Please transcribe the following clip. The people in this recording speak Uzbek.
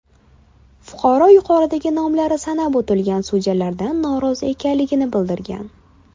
Fuqaro yuqorida nomlarini sanab o‘tgan sudyalardan norozi ekanligini bildirgan.